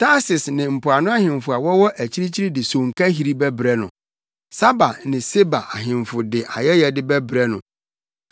Tarsis ne mpoano ahemfo a wɔwɔ akyirikyiri de sonkahiri bɛbrɛ no; Saba ne Seba ahemfo de ayɛyɛde bɛbrɛ no.